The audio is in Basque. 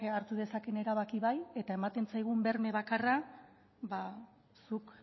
hartu dezakeen erabakia bai eta ematen zaigun berme bakarra zuk